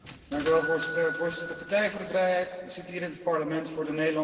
Voorzitter, de Partij voor de Vrijheid zit hier in het Parlement voor de Nederlandse burger.